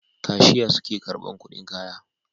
Kashiya suke karban kudin kaya